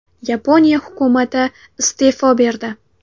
Yaponiya hukumati iste’fo berdi.